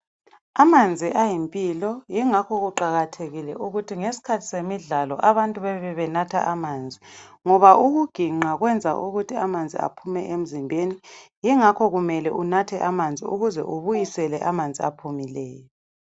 Amanzi ayimpilo yingakho kuqakathekile ukuthi ngesikhathi semidlalo abantu bebe benatha amanzi ngoba ukuginqa kwenza amanzi aphume emzimbeni yingakho kumele unathe amanzi ukuze ubuyisele amanzi aphumileyo.